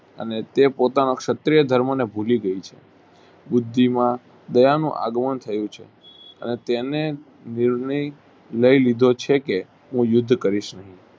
અને તે પોતાના ક્ષત્રિય ધર્મને ભૂલી ગય છે બુદ્ધિમાં દયાનું આગમન થયું છે અને તેને લાયલીધો છે કે હું યુદ્ધ કરીશ નહિ.